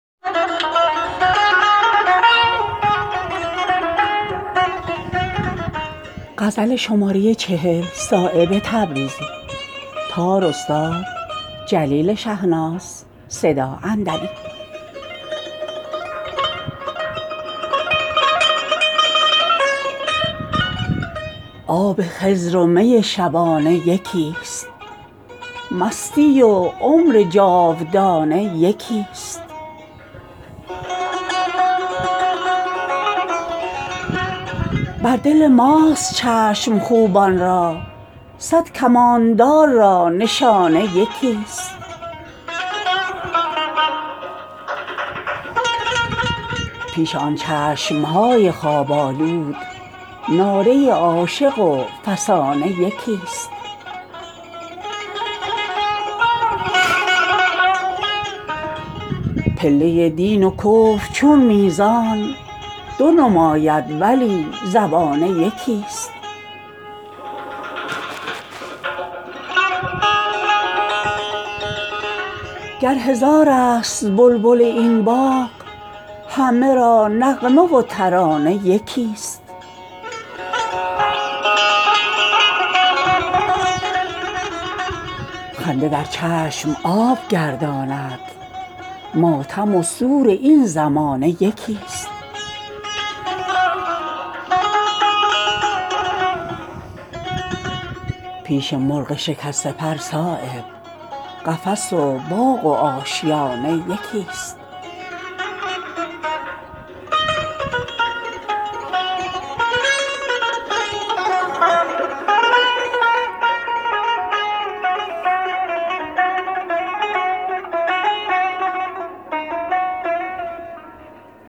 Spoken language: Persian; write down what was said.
آب خضر و می شبانه یکی است مستی و عمر جاودانه یکی است بر دل ماست چشم خوبان را صد کماندار را نشانه یکی است پیش آن چشمهای خواب آلود ناله عاشق و فسانه یکی است در مقامی که غور باید کرد قطره و بحر بیکرانه یکی است کثرت خلق عین توحیدست خوشه چندین هزار و دانه یکی است پله دین و کفر چون میزان دو نماید ولی زبانه یکی است رهروانی که راست چون تیرند همه را مقصد و نشانه یکی است دو جهان سنگ راه سالک نیست نسبت تیر با دو خانه یکی است گر هزارست بلبل این باغ همه را نغمه و ترانه یکی است نشود نور مهر پست و بلند پیش ما صدر و آستانه یکی است عاشقی را که غیرتی دارد چین ابرو و تازیانه یکی است خنده در چشم آب گرداند ماتم و سور این زمانه یکی است پیش مرغ شکسته پر صایب قفس و باغ و آشیانه یکی است